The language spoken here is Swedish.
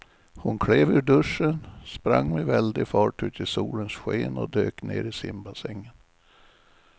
Hon klev ur duschen, sprang med väldig fart ut i solens sken och dök ner i simbassängen.